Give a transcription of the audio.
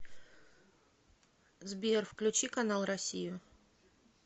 сбер включи канал россию